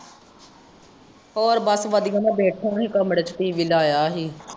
ਹੋਰ ਬੱਸ ਵੜਿਆ ਮੈਂ ਬੈਠਾ ਸੀ ਕਮਰੇ ਚੇ TV ਲਾਯਾ ਸੀ।